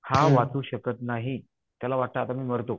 हा वाचू शकत नाही. त्याला वाटतं आता मी मरतो.